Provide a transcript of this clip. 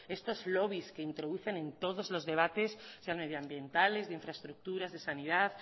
estos lobbies que introducen en todos los debates sean medioambientales de infraestructuras de sanidad